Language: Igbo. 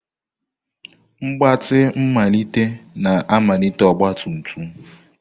Mgbatị mmalite na-amalite ọgba tum tum.